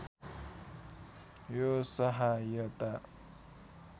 यो सहायता